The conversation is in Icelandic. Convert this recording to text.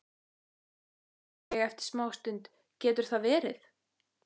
umlaði ég eftir smástund: Getur það verið?